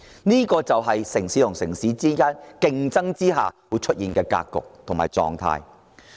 這就是城市之間競爭人才下會出現的格局及狀態。